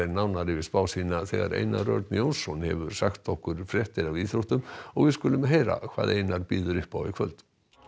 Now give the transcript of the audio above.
nánar yfir spá sína þegar Einar Örn Jónsson hefur sagt okkur fréttir af íþróttum og við skulum heyra hvað Einar býður upp á í kvöld